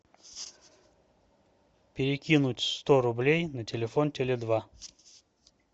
перекинуть сто рублей на телефон теле два